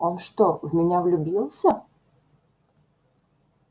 он что в меня влюбился